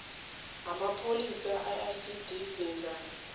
ngamapholisa iicd lenzani